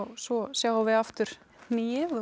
svo sjáum við aftur hnigið og